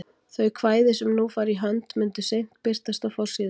Þau kvæði sem nú fara í hönd myndu seint birtast á forsíðu